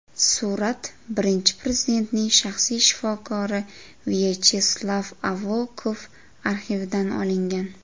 Surat Birinchi Prezidentning shaxsiy shifokori Vyacheslav Avakov arxividan olingan.